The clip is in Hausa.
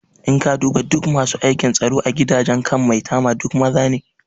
In ka duba duk masu aikin tsaro a gidajen kan maitama duk maza ne